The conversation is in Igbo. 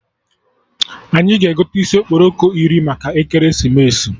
Anyị ga-egote isi okporoko iri maka ekeresimesi